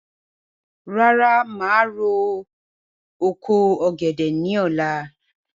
Rárá, màá ro oko ọ̀gẹ̀dẹ̀ ní ọ̀la